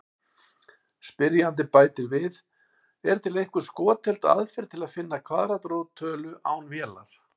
Spyrjandi bætir við: Er til einhver skotheld aðferð til að finna kvaðratrót tölu án vélar?